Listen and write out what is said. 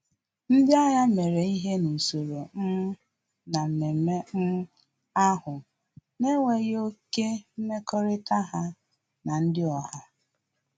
Ndị agha mere ihe n'usoro um na mmemme um ahụ na enweghị oké mmekọrịta ha na ndị oha